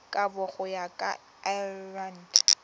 kabo go ya ka lrad